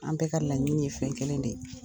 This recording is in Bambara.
An bɛɛ ka laɲini ye kelen de ye.